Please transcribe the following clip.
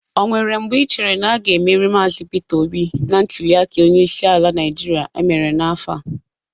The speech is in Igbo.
O nweere mgbe ichere na a ga-emeri Maazị Peter Obi na ntuliaka onyeisi ala Naịjịrịa emere n'afọ a?